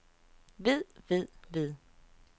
ved ved ved